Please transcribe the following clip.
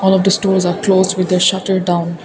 all of these stores are closed with the shutter down.